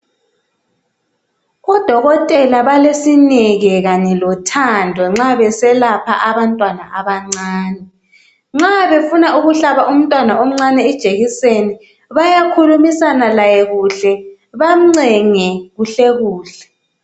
Odokotela balesineke kanye lothando nxa beselapha abantwana abancane. Nxa befuna ukuhlaba umntwana omncane ijekiseni bayakhulumisana laye kuhle bamncenge kuhle kuhle.